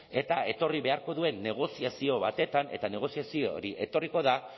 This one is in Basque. eta etorri beharko duen negoziazio batetan eta negoziazio hori etorriko da